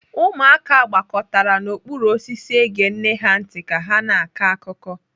Ụmụaka gbakọtara n'okpuru osisi ege nne ha ntị ka ha na-akọ akụkọ.